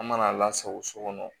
An mana lasago so kɔnɔ